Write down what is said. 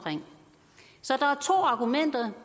så der er to argumenter